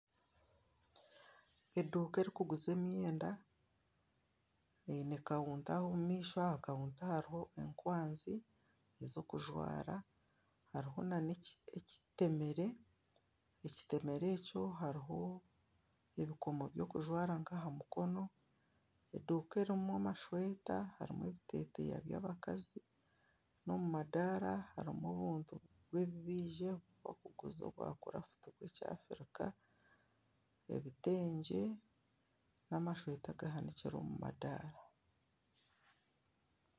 Eduuka erikuguza emyenda eine kawuta aho omu maisho aha kawuta hariho ekwanzi ez'okujwara hariho na n'ekitemeere, ekitemeere ekyo hariho ebikoomo by'okujwara nka aha mikono eduuka erimu amasweta harimu ebiteteeya by'abakazi n'omu madaara harimu obuntu bubizirwe bakuguza obwa kurafuti bw'ekya Africa ebiteengye n'amasweta gahanikire omu madaara.